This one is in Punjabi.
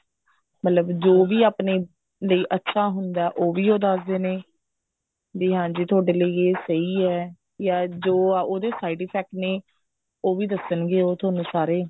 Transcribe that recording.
ਮਤਲਬ ਜੋ ਵੀ ਆਪਣੇ ਲਈ ਅੱਛਾ ਹੁੰਦਾ ਉਹ ਵੀ ਉਹ ਦੱਸਦੇ ਨੇ ਵੀ ਹਾਂਜੀ ਥੋਡੇ ਲਈ ਇਹ ਸਹੀ ਹੈ ਜਾਂ ਜੋ ਉਹਦੇ side effect ਨੇ ਉਹ ਵੀ ਦੱਸਣਗੇ ਉਹ ਤੁਹਾਨੂੰ ਸਾਰੇ